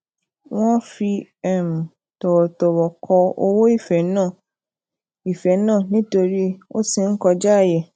wón fi um tòwòtòwò ko owo ife naa ife naa nítorí o ti n kojaaye